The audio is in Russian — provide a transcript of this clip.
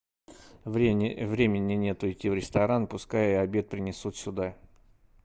времени нет идти в ресторан пускай обед принесут сюда